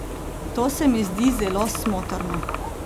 To se mi zdi zelo smotrno.